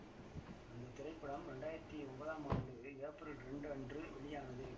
அந்த திரைப்படம் இரண்டாயிரத்தி ஒன்பதாம் ஆண்டு ஏப்ரல் இரண்டு அன்று வெளியானது